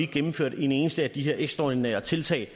gennemført et eneste af de her ekstraordinære tiltag